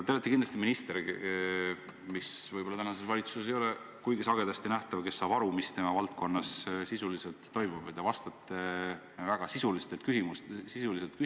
Te olete kindlasti selline minister – see ei ole vist praeguses valitsuses kuigi sagedasti nähtav –, kes saab aru, mis tema valdkonnas sisuliselt toimub, ja vastate väga sisuliselt küsimustele.